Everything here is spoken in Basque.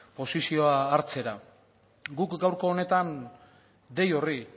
posizioa hartzera guk gaurko horretan dei horri